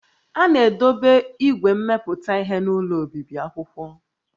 A na-edobe igwe mmepụta ihe n'ụlọ obibi akwụkwọ